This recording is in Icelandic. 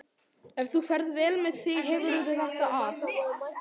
Ef þú ferð vel með þig hefurðu þetta af.